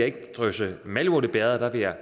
ikke drysse malurt i bægeret